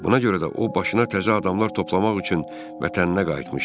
Buna görə də o başına təzə adamlar toplamaq üçün vətəninə qayıtmışdı.